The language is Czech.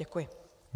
Děkuji.